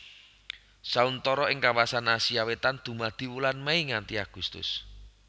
Sauntara ing kawasan Asia Wétan dumadi wulan Mei nganti Agustus